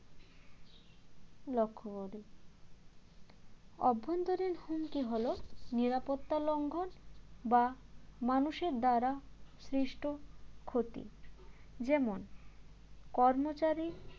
লক্ষ্য করে অভ্যন্তরীণ হুমকি হল নিরাপত্তা লঙ্ঘন বা মানুষের দ্বারা সৃষ্ট ক্ষতি যেমন কর্মচারী